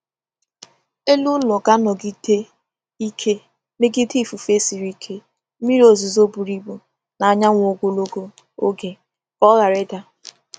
Elu ụlọ ga-anọgide ike megide ifufe siri ike, mmiri ozuzo buru ibu, na anyanwụ ogologo oge ka ọ ghara ịda.